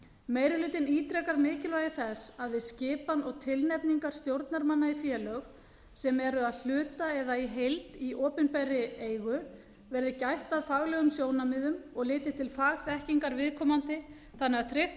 meiri hlutinn ítrekar mikilvægi þess að við skipan og tilnefningar stjórnarmanna í félög sem eru að hluta eða í heild í opinberri eigu verði gætt að faglegum sjónarmiðum og litið til fagþekkingar viðkomandi þannig að tryggt